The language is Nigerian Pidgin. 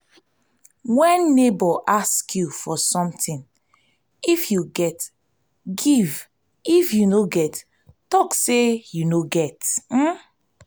when neighbor ask you for something if you get give if you no get talk say you no get